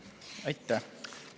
Aitäh!